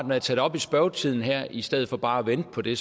når jeg tager det op i spørgetiden her i stedet for bare at vente på det